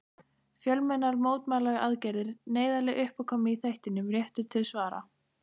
Fjölmennar mótmælaaðgerðir, neyðarleg uppákoma í þættinum Réttur til svara.